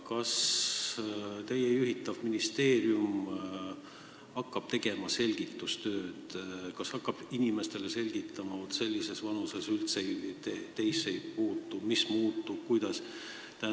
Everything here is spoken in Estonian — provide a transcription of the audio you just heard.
Kas teie juhitav ministeerium hakkab tegema selgitustööd, hakkab inimestele selgitama, et vaat sellises vanuses elanikesse see üldse ei puutu ja mis kellegi jaoks muutub?